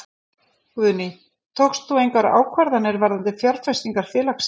Guðný: Tókst þú engar ákvarðanir varðandi fjárfestingar félagsins?